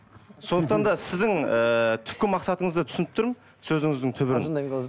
сондықтан да сіздің ііі түпкі мақсатыңызды түсініп тұрмын сөзіңіздің түбін қалжыңдаймын қалжың